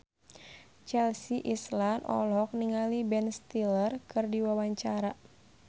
Chelsea Islan olohok ningali Ben Stiller keur diwawancara